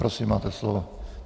Prosím, máte slovo.